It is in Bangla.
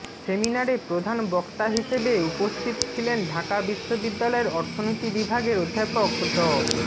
সেমিনারে প্রধান বক্তা হিসেবে উপস্থিত ছিলেন ঢাকা বিশ্ববিদ্যালয়ের অর্থনীতি বিভাগের অধ্যাপক ড